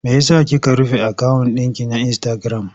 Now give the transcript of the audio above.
Me ya sa kika rufe akawun ɗinki na insitagiram?